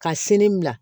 Ka sini bila